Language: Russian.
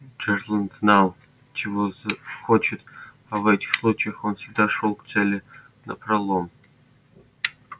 джералд знал чего хочет а в этих случаях он всегда шёл к цели напролом